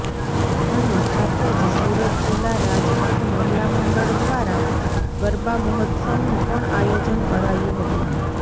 અને સાથે જ સુરત જિલ્લા રાજપૂત મહિલા મંડળ દ્વારા ગરબા મહોત્સવનું પણ આયોજન કરાયું હતું